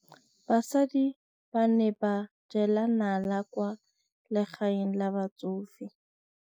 Basadi ba ne ba jela nala kwaa legaeng la batsofe.